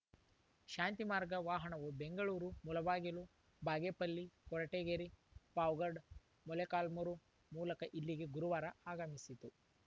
ಶಾಂತಿಮಾರ್ಗ ವಾಹನವು ಬೆಂಗಳೂರು ಮುಳಬಾಗಿಲು ಬಾಗೇಪಲ್ಲಿ ಕೊರಟಗೆರೆ ಪಾವಗಡ್ ಮೊಳಕಾಲ್ಮೂರು ಮೂಲಕ ಇಲ್ಲಿಗೆ ಗುರುವಾರ ಆಗಮಿಸಿತು